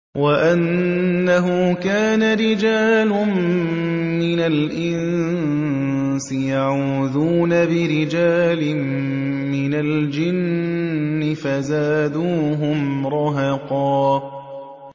وَأَنَّهُ كَانَ رِجَالٌ مِّنَ الْإِنسِ يَعُوذُونَ بِرِجَالٍ مِّنَ الْجِنِّ فَزَادُوهُمْ رَهَقًا